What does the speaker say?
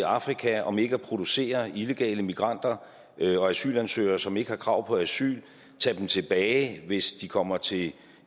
afrika om ikke at producere illegale migranter og asylansøgere som ikke har krav på asyl og tage dem tilbage hvis de kommer til